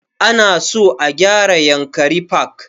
Ana so a gyara yankari park